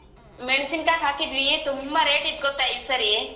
ಮೆಣ್ಸಿನ್ಕಾಯಿ ಹಾಕಿದ್ವಿ ತುಂಬಾ rate ಇತ್ ಗೊತ್ತಾ ಈ ಸರಿ?